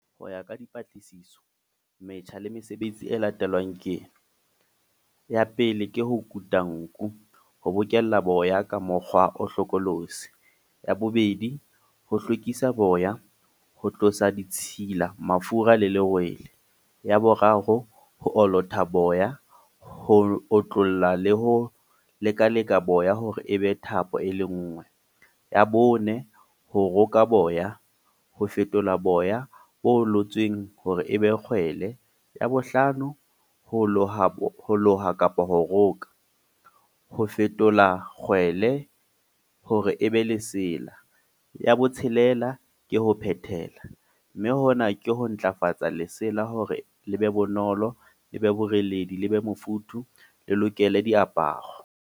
Ho ya ka dipatlisiso, metjha le mesebetsi e latelang ke ena. Ya pele ke ho kuta nku. Ho bokella boya ka mokgwa o hlokolosi. Ya bobedi, ho hlwekisa boya. Ho tlosa ditshila, mafura le lerwele. Ya boraro, ho olota boya. Ho otlolla le ho lekalekana boya hore e be thapo e le nngwe. Ya bone ho roka boya. Ho fetola boya bo olotsweng hore e be kgwele. Ya bo hlano, ho loha ho loha kapa ho roka. Ho fetola kgwele hore e be lesea. Ya botshelela, ke ho phehela. Mme hona ke ho ntlafatsa lesela hore le be bonolo le be boreledi, le be mofuthu, le lokele diaparo.